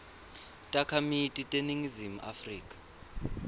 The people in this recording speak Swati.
takhamiti teleningizimu afrika